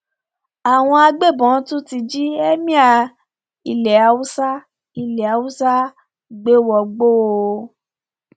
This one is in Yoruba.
àwọn agbébọn ti tún jí ẹmíà ilẹ haúsá ilẹ haúsá gbé wọgbó o